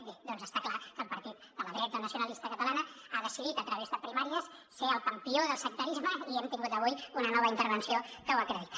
bé doncs està clar que el partit de la dreta nacionalista catalana ha decidit a través de primàries ser el campió del sectarisme i hem tingut avui una nova intervenció que ho acredita